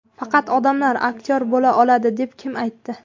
Faqat odamlar aktyor bo‘la oladi deb kim aytdi?